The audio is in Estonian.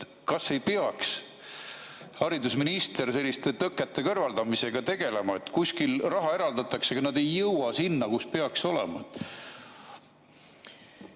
Kas haridusminister ei peaks selliste tõkete kõrvaldamisega tegelema, kui kuskil raha eraldatakse, aga see ei jõua sinna, kuhu peaks jõudma?